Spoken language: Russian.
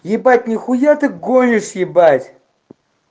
ебать нехуя ты гонишь ебать